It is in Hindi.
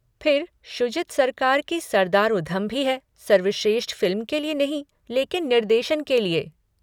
फिर शुजित सरकार की सरदार उधम भी है सर्वश्रेष्ठ फ़िल्म के लिए नहीं लेकिन निर्देशन के लिए।